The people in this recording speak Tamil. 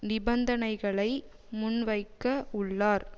நிபந்தனைகளை முன்வைக்க உள்ளார்